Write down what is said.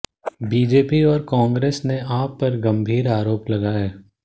BJP और कांग्रेस ने आप पर गंभीर आरोप लगाए